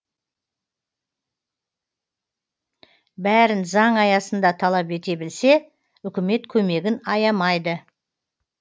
бәрін заң аясында талап ете білсе үкімет көмегін аямайды